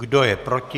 Kdo je proti?